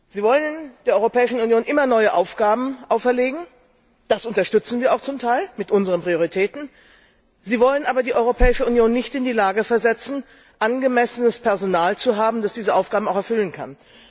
Sie wollen der Europäischen Union immer neue Aufgaben auferlegen das unterstützen wir auch zum Teil mit unseren Prioritäten sie wollen aber die Europäische Union nicht in die Lage versetzen, angemessenes Personal zu haben, das diese Aufgaben auch erfüllen kann.